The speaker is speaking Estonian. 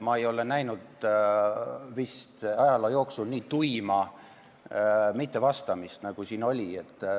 Ma ei ole ajaloo jooksul näinud nii tuima mittevastamist, nagu siin täna oli.